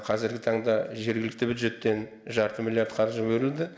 қазіргі таңда жергілікті бюджеттен жарты миллиард қаржы бөлінді